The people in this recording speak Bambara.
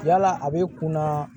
Yala a bɛ kunna